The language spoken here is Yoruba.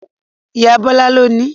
Ìyá Bọ́lá ló nií